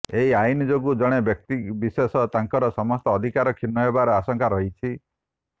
ଏହି ଆଇନ୍ ଯୋଗୁଁ ଜଣେ ବ୍ୟକ୍ତିବିଶେଷ ତାଙ୍କର ସମସ୍ତ ଅଧିକାରରୁ କ୍ଷୁର୍ଣ୍ଣ ହେବାର ଆଶଙ୍କା ରହିଛି